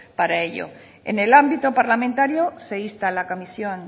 para ello en el ámbito parlamentario se insta a la comisión